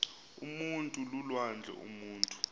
umntu lulwandle umutu